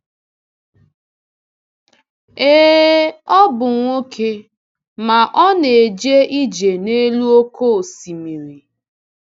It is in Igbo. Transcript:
Ee, ọ bụ nwoke, ma ọ na-eje ije n’elu oké osimiri!